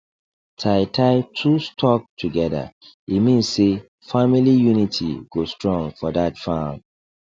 tie tie two stalk together e mean say family unity go strong for that farm